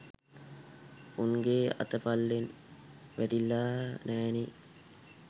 උන්ගේ අත පල්ලෙන් වැටිලා නෑනේ.